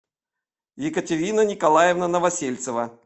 екатерина николаевна новосельцева